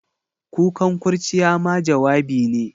Kukan kurciya ma jawabi ne.